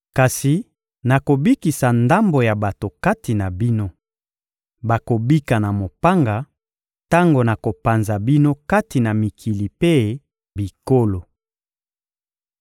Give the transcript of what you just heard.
Kasi nakobikisa ndambo ya bato kati na bino: bakobika na mopanga tango nakopanza bino kati na mikili mpe bikolo.